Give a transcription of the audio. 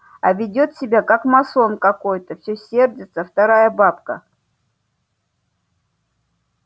а ведёт себя как масон какой-то всё сердится вторая бабка